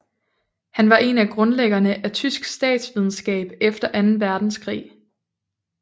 Han var en af grundlæggerne af tysk statsvidenskab efter anden verdenskrig